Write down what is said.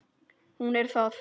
Hún er það.